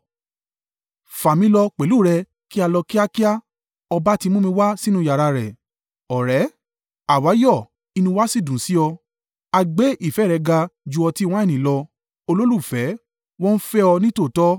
Fà mí lọ pẹ̀lú rẹ, kí a lọ kíákíá ọba ti mú mi wá sínú yàrá rẹ̀. Ọ̀rẹ́ Àwa yọ̀ inú wa sì dùn sí ọ; a gbé ìfẹ́ rẹ ga ju ọtí wáìnì lọ. Olólùfẹ́ Wọ́n fẹ́ ọ nítòótọ́!